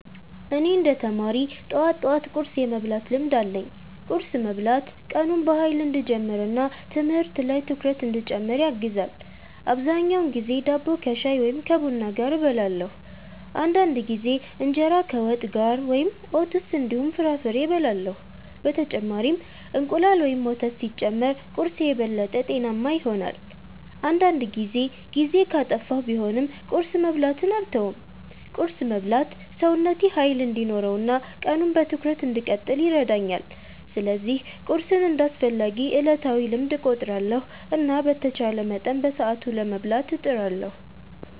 እኔ እንደ ተማሪ ጠዋት ጠዋት ቁርስ የመብላት ልምድ አለኝ። ቁርስ መብላት ቀኑን በኃይል እንዲጀምር እና ትምህርት ላይ ትኩረት እንዲጨምር ያግዛል። አብዛኛውን ጊዜ ዳቦ ከሻይ ወይም ከቡና ጋር እበላለሁ። አንዳንድ ጊዜ እንጀራ ከወጥ ጋር ወይም ኦትስ እንዲሁም ፍራፍሬ እበላለሁ። በተጨማሪም እንቁላል ወይም ወተት ሲጨመር ቁርስዬ የበለጠ ጤናማ ይሆናል። አንዳንድ ጊዜ ጊዜ ካጠፋሁ ቢሆንም ቁርስ መብላትን አልተውም። ቁርስ መብላት ሰውነቴ ኃይል እንዲኖረው እና ቀኑን በትኩረት እንድቀጥል ይረዳኛል። ስለዚህ ቁርስን እንደ አስፈላጊ ዕለታዊ ልምድ እቆጥራለሁ እና በተቻለ መጠን በሰዓቱ ለመብላት እጥራለሁ።